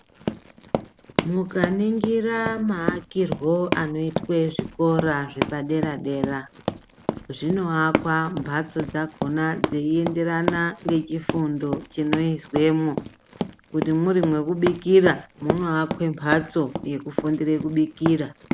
Mukaningira maakirwo anoitwe zvikora zvepadera dera , zvinoakwa mbatso dzakona dzeienderana ngechifundo chinoizwemo kuti mwuri mwekubikira munoakwe mbatso yekufundire kubikira.